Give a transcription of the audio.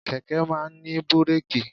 Kẹ̀kẹ́ máa ń ní búrèkì.